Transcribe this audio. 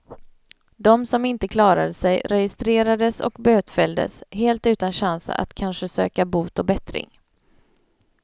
De som inte klarade sig registrerades och bötfälldes, helt utan chans att kanske söka bot och bättring.